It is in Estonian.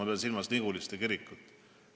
Ma pean silmas Niguliste kirikut.